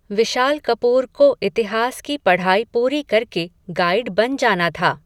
विशाल कपूर को, इतिहास की पढ़ाई पूरी करके, गाइड बन जाना था